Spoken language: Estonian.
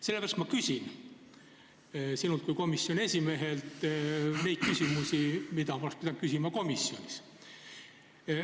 Sellepärast ma küsin sinult kui komisjoni esimehelt seda, mida ma oleks pidanud küsima komisjonis.